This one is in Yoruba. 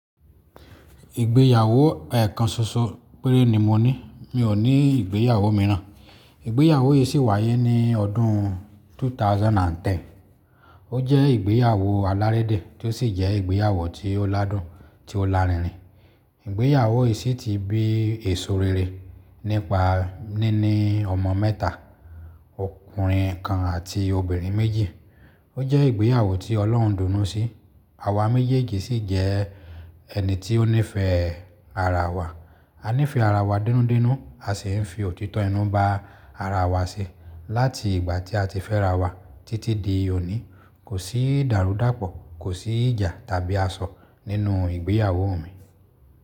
Ìgbéyàwó ẹ́ẹ̀kan ṣoṣo péré ni mo ní. Mi ò ní ìgbéyàwó mìíràn. Ìgbéyàwó yìí sì wáyé ní ọdún 2010. Ó jẹ́ ìgbéyàwó alárédè tí ó sì jẹ́ ìgbéyàwó tí ó ládùn, tí ó lárinrin. Ìgbéyàwó yìí sì ti bí èso rere nípa ní ní ọmọ mẹ́ta, ọkùnrin kan àti obìnrin méjì. Ó jẹ́ ìgbéyàwó tí Ọlọ́run dùn ún nu sí. Àwa méjèèjì sì jẹ ẹni tí ó nífẹ̀ẹ́ ara wa. A nífẹ̀ẹ́ ara wa denúdenú. A sì ń fi òtítọ́ inú ba ara wa ṣe. Láti ìgbà tí a ti fẹ́ra wa títí di òní, kò sí ìdàrúdàpọ̀, kò sí ìjà tàbí asọ nínú ìgbéyàwó mi.